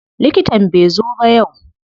Likitan bai zo ba yau.